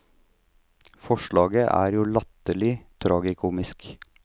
Forslaget er jo latterlig, tragikomisk.